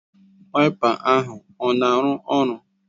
Waịpa ahụ ọ na-arụ ọrụ?